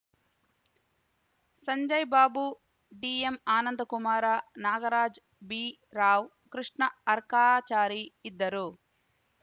ಸಂಜಯ್‌ ಬಾಬು ಡಿಎಂಆನಂದಕುಮಾರ ನಾಗರಾಜ್ ಬಿರಾವ್‌ ಕೃಷ್ಣ ಅರ್ಕಾಚಾರಿ ಇದ್ದರು